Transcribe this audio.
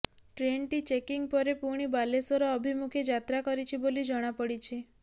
ଟ୍ରେନ୍ଟି ଚେକିଂ ପରେ ପୁଣି ବାଲେଶ୍ବର ଅଭିମୁଖେ ଯାତ୍ରା କରିଛି ବୋଲି ଜଣାପଡିଛି